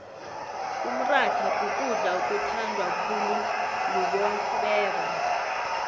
umrhatha kukudla okuthandwa khuulubobeba